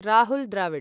Rahul Dravid